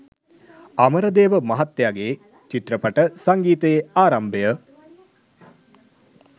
අමරදේව මහත්තයාගේ චිත්‍රපට සංගීතයේ ආරම්භය